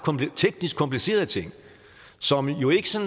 teknisk komplicerede ting som jo så